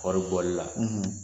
Kɔri bɔli la